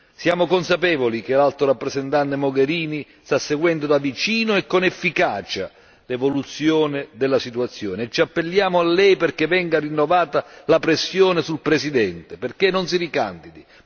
Siamo consapevoli che l'Alto rappresentante Mogherini sta seguendo da vicino e con efficacia l'evoluzione della situazione e ci appelliamo a lei perché venga rinnovata la pressione sul Presidente perché non si ricandidi.